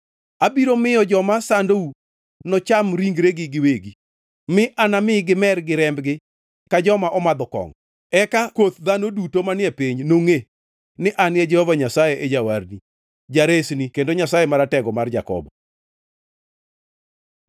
Abiro miyo joma sandou nocham ringregi giwegi mi anami gimer gi rembgi ka joma omadho kongʼo. Eka koth dhano duto manie piny nongʼe ni an Jehova Nyasaye e Jawarni, Jaresni kendo Nyasaye Maratego mar Jakobo.”